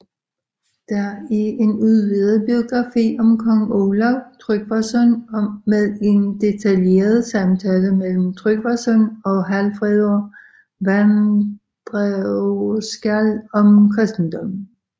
Det er en udvidet biografi om kong Olav Tryggvason med en detaljeret samtale mellem Tryggvason og Hallfreðr vandræðaskáld om kristendommen